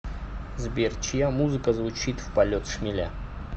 сбер чья музыка звучит в полет шмеля